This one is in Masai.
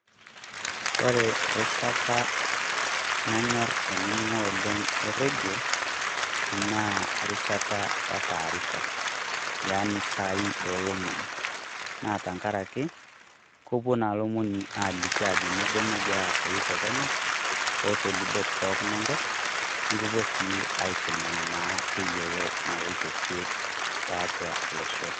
Kore errishit nanyorr ainining'o oleng' rredio naa erishata etaarifa, Yani isaai olomoni naa tengaraki kepuo naa lomoni aaliki aajoki kanyio naa nagira aasau tekenya o tolubot pooki Enkop, nikipuo naa aiteng'en tayiolo naloito kwee tiatua losho.